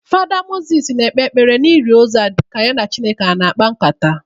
Fada Moses na-ekpe ekpere ili ozu a ka ya na Chineke ọ na-akpa nkata.